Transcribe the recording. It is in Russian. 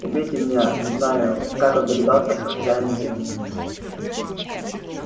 убейте меня не знаю как он догадался что хозяин вы